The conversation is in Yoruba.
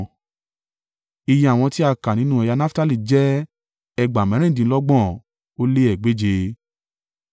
Iye àwọn tí a kà nínú ẹ̀yà Naftali jẹ́ ẹgbàá mẹ́rìndínlọ́gbọ̀n ó lé egbèje (53,400).